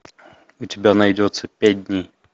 у тебя найдется пять дней